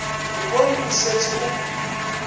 re bone o šetše o